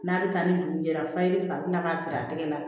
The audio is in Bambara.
N'a bɛ taa ni dugu jɛra fayiri fa bɛ na ka siri a tɛgɛ la